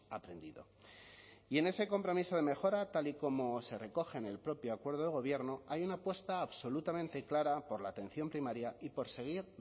aprendido y en ese compromiso de mejora tal y como se recoge en el propio acuerdo de gobierno hay una apuesta absolutamente clara por la atención primaria y por seguir